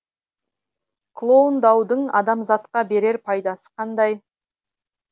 клондаудың адамзатқа берер пайдасы қандай